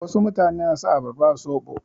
Wasu mutane na sa abarba a soɓo.